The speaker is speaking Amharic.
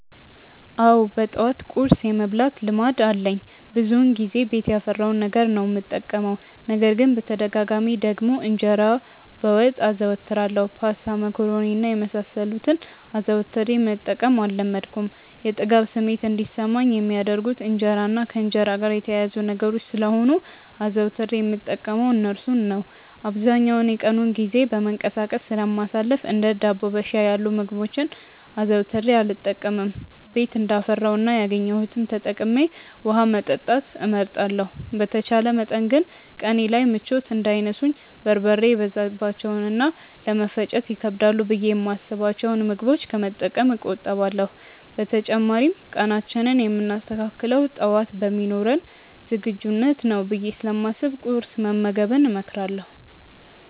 አዎ በጠዋት ቁርስ የመብላት ልማድ አለኝ። ብዙውን ጊዜ ቤት ያፈራውን ነገር ነው የምጠቀመው። ነገር ግን በተደጋጋሚ ደግሞ እንጀራ በወጥ አዘወትራለሁ። ፓስታ፣ መኮሮኒ እና የመሳሰሉትን አዘውትሬ መጠቀም አልለመድኩም። የጥጋብ ስሜት እንዲሰማኝ የሚያደርጉት እንጀራ እና ከእንጀራ ጋር የተያያዙ ነገሮች ስለሆኑ አዘውትሬ የምጠቀመው እርሱን ነው። አብዛኛውን የቀኑን ጊዜ በመንቀሳቀስ ስለማሳልፍ እንደ ዳቦ በሻይ ያሉ ምግቦችን አዘውትሬ አልጠቀምም። ቤት እንዳፈራው እና ያገኘሁትን ተጠቅሜ ውሀ መጠጣት እመርጣለሁ። በተቻለ መጠን ግን ቀኔ ላይ ምቾት እንዳይነሱኝ በርበሬ የበዛባቸውን እና ለመፈጨት ይከብዳሉ ብዬ የማስብቸውን ምግቦች ከመጠቀም እቆጠባለሁ። በተጨማሪም ቀናችንን የምናስተካክለው ጠዋት በሚኖረን ዝግጁነት ነው ብዬ ስለማስብ ቁርስ መመገብን እመክራለሁ።